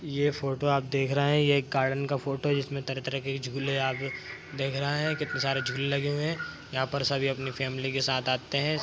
ये फोटो आप देख रहे हैं ये एक गार्डेन का फोटो है जिसमें तरह-तरह के झूले आप देख रहे हैं कितने सारे झूले लगे हुए हैं यहाँ पर सभी अपनी फैमिली के साथ आते हैं।